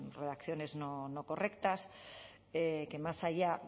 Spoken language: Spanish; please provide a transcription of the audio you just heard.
redacciones no correctas que más allá